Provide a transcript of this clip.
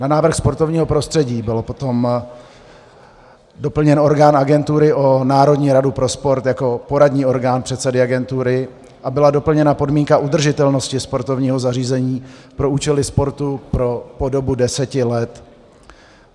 Na návrh sportovního prostředí byl potom doplněn orgán agentury o Národní radu pro sport jako poradní orgán předsedy agentury a byla doplněna podmínka udržitelnosti sportovního zařízení pro účely sportu po dobu deseti let.